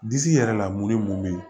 Disi yɛrɛ la mori mun bɛ yen